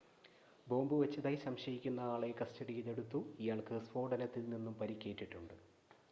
bomb വച്ചതായി സംശയിക്കുന്ന ആളെ കസ്‌റ്റഡിയിൽ എടുത്തു ഇയാൾക്ക് സ്ഫോടനത്തിൽ നിന്നും പരിക്കേറ്റിട്ടുണ്ട്